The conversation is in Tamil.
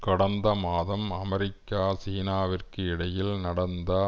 கடந்த மாதம் அமெரிக்கா சீனாவிற்கு இடையில் நடந்த